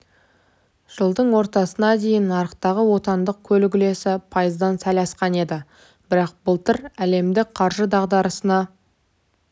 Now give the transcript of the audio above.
жылдың ортасына дейін нарықтағы отандық көлік үлесі пайыздан сәл асқан еді бірақ былтыр әлемдік қаржы дағдарысына